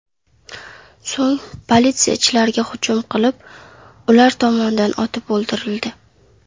So‘ng politsiyachilarga hujum qilib, ular tomonidan otib o‘ldirildi .